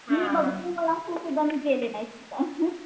हां मी भरपूर मी गेले नाही तिथं.